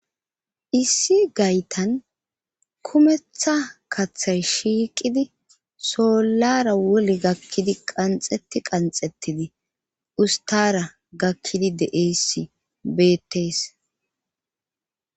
issi gaytan kumetha kaththay shiiqidi sollara wole gakkidi qanxetti qanxettidi ustara gakkidi deesi beettes